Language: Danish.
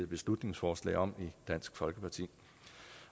beslutningsforslag om i dansk folkeparti